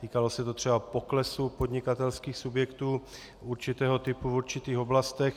Týkalo se to třeba poklesu podnikatelských subjektů určitého typu v určitých oblastech.